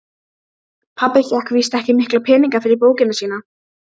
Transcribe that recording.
Pabbi fékk víst ekki mikla peninga fyrir bókina sína.